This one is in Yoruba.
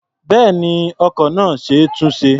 Bẹ́ẹ̀ni, ọkọ̀ náà ṣe é túnṣe.